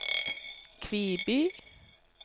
Kviby